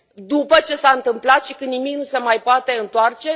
După ce s a întâmplat și când nimic nu se mai poate întoarce?